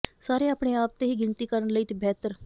ਸਾਰੇ ਆਪਣੇ ਆਪ ਤੇ ਹੀ ਗਿਣਤੀ ਕਰਨ ਲਈ ਬਿਹਤਰ